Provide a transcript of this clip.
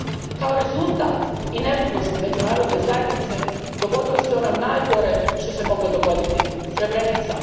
Kao rezultat inertnosti međunarodne zajednice dogodilo se najgore što se moglo dogoditi Srebrenica.